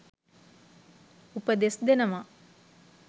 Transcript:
උපදෙස්‌ දෙනවා.